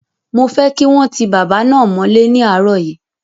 Mo fẹ́ kí wọ́n ti bàbá náà mọ́lẹ́ ní àárọ̀ yìí!